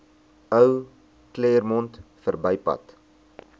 ou claremont verbypad